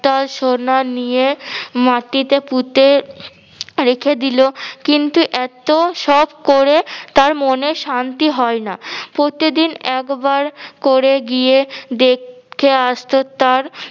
তার সোনা নিয়ে মাটিতে পুঁতে রেখে দিলো কিন্তু এত্ত সব করে তার মনে শান্তি হয় না, প্রতিদিন একবার করে গিয়ে দেকখে আসতো তার-